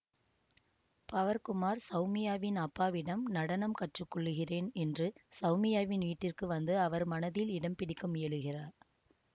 power Kumar சௌமியாவின் அப்பாவிடம் நடனம் கற்றுக்கொள்ளுகிறேன் என்று சௌமியாவின் வீட்டிற்கு வந்து அவர் மனதில் இடம் பிடிக்க முயலுகிறார்